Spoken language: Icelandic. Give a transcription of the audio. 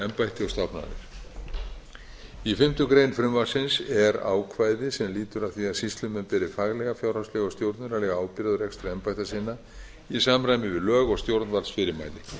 og stofnanir í fimmtu grein frumvarpsins er ákvæði sem lýtur að því að sýslumenn beri faglega fjárhagslega og stjórnunarlega ábyrgð á rekstri embætta sinna í samræmi við lög og stjórnvaldsfyrirmæli